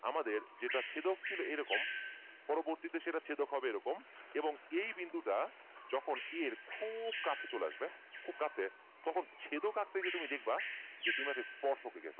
আমাদের যেটা ছেদক ছিল এইরকম পরবর্তী তে সেটা ছেদক হবে এইরকম এবং এই বিন্দুটা যখন A এর খুব কাছে চলে আসবে খুব কাছে তখন ছেদক আঁকতে গিয়ে তুমি দেখবা যে তুমি একটা স্পর্শ